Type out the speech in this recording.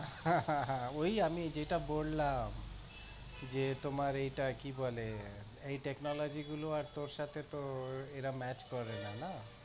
আহ হা হা হা ওই আমি যেটা বললাম। যে তোমার এটা কি বলে এই technology গুলো আর তোর সাথে তো এরা match করে না, না।